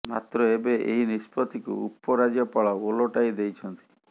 ମାତ୍ର ଏବେ ଏହି ନିଷ୍ପତ୍ତିକୁ ଉପ ରାଜ୍ୟପାଳ ଓଲଟାଇ ଦେଇଛନ୍ତି